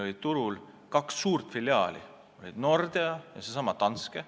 Meil oli turul kaks suurt filiaali: Nordea ja seesama Danske.